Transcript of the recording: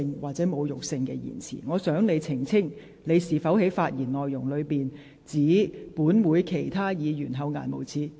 我希望你能澄清，你在剛才的發言中，是否指本會的其他議員厚顏無耻？